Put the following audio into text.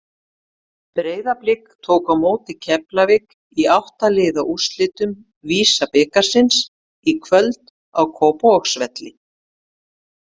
Breiðablik tók á móti Keflavík í átta liða úrslitum VISA-bikarsins í kvöld á Kópavogsvelli.